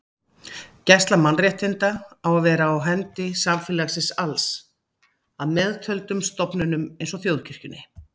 Gæsla mannréttinda á að vera á hendi samfélagsins alls að meðtöldum stofnunum eins og þjóðkirkjunni.